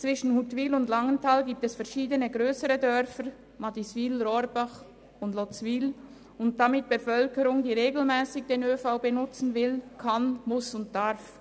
Zwischen Huttwil und Langenthal liegen verschiedene grössere Dörfer, so Madiswil, Rohrbach und Lotzwil, mit einer Bevölkerung, die regelmässig den ÖV benutzen will, kann, muss und darf.